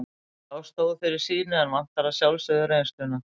Sá stóð fyrir sínu en vantar að sjálfsögðu reynsluna.